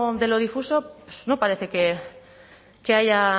de lo difuso pues no parece que haya